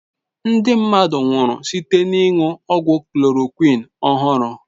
Ndị mmadụ nwụrụ site n'ịṅụ ọgwụ chloroquine ọhụrụ.